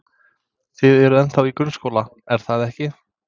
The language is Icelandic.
Þið eruð ennþá í grunnskóla, er það ekki?